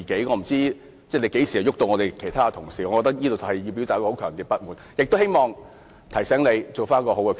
我不知道你何時會趕走其他同事，我要對此表達強烈的不滿，亦希望提醒你作出更好的決定。